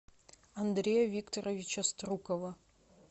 андрея викторовича струкова